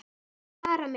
Ég vil fara með.